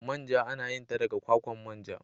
Manja ana yin ta daga kwakwan manja.